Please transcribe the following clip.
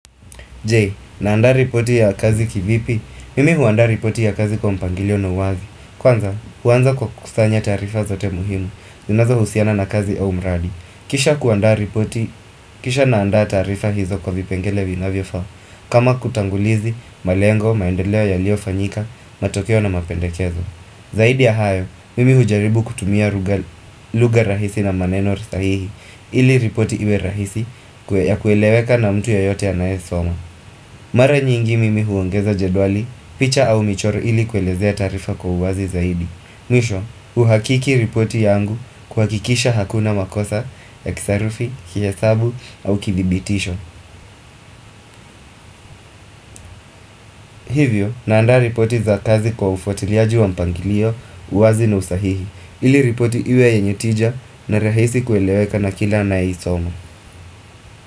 J, naanda ripoti ya kazi kivipi? Mimi huandaa ripoti ya kazi kwa mpangilio na uwazi. Kwanza, huanza kwa kusanya taarifa zote muhimu. Zinazohusiana na kazi au umradi. Kisha kuandaa ripoti, kisha naanda taarifa hizo kwa vipengele vinavyofaa. Kama kutangulizi, malengo, maendeleo yaliofanyika, matokeo na mapendekezo. Zaidi ya hayo, mimi hujaribu kutumia lugha rahisi na maneno sahihi ili ripoti iwe rahisi ya kueleweka na mtu yeyote anaesoma Mara nyingi mimi huongeza jedwali, picha au michoro ili kuelezea taarifa kwa uwazi zaidi Mwisho, uhakiki ripoti yangu kuhakikisha hakuna makosa, ya kisarufi, kiesabu au kidhibitisho Hivyo, naanda ripoti za kazi kwa ufuatiliaji wa mpangilio, uwazi na usahihi ili ripoti iwe yenye tija na rahisi kueleweka na kila anayeisoma.